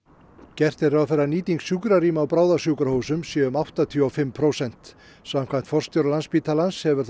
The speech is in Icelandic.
gert er ráð fyrir að nýting sjúkrarýma á bráðasjúkrahúsum sé um áttatíu og fimm prósent samkvæmt forstjóra Landspítalans hefur